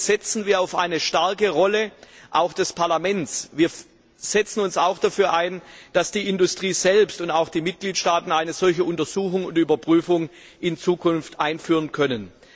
Hierbei setzen wir auf eine starke Rolle des Parlaments. Wir setzen uns auch dafür ein, dass die Industrie selbst und die Mitgliedstaaten eine solche Untersuchung und Überprüfung in Zukunft einführen können.